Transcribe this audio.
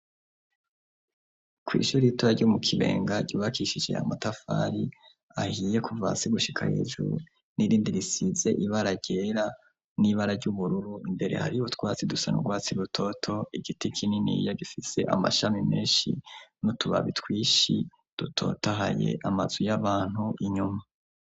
kw' ishuri ritoya ryo mu kibenga ryubakishije yamatafari ahiye ,kuva hasi gushika hejuru ,n'irindi risize ibara ryera n'ibara ry'ubururu ,imbere hari utwatsi dusa n' urwatsi rutoto ,igiti kininiya gifise amashami menshi, n'utubabi twinshi dutoto ahaye amazu y'abantu inyuma.